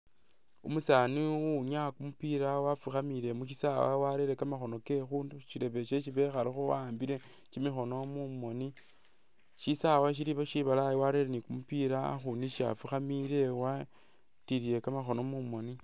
Umusani uwinyaya kumupila wafukhamile mukhisawa warele kamakhono ke khushirebe shesi bekhalekho wahambile kyimikhono mumoni shisae shilikho shibalayi warelekho ni kumupila akhundu isi afukhamile watilile kamakhono mumoni.